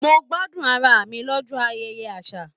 Mo gbádùn ará mi l'ọjọ ayẹyẹ àṣà.